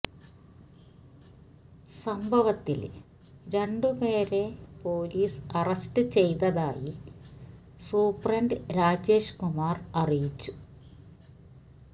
സംഭവത്തില് രണ്ട് പേരെ പോലീസ് അറസ്റ്റ് ചെയ്തതായി സൂപ്രണ്ട് രാജേഷ് കുമാര് അറിയിച്ചു